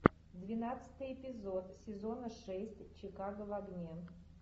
двенадцатый эпизод сезона шесть чикаго в огне